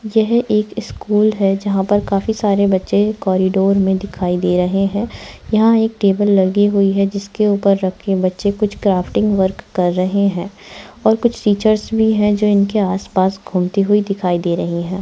यह एक स्कूल है जहाँ पर काफी सारे बच्चे कॉरिडोर में दिखाई दे रहे है यहाँ एक टेबल लगी हुई है जिसके ऊपर रखे बच्चे कुछ क्राफ्टिंग वर्क कर रहे हैं और कुछ टीचर्स भी है जो इनके आस-पास घूमती हुई दिखाई दे रही हैं।